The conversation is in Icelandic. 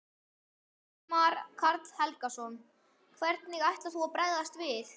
Ingimar Karl Helgason: Hvernig ætlar þú að bregðast við?